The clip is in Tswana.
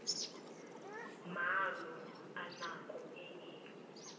maano a nako e e